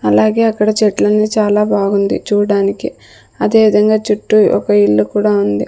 అలాగే అక్కడ చెట్లన్నీ చాలా బాగుంది చూడడానికి అదే విధంగా చుట్టూ ఒక ఇల్లు కూడా ఉంది.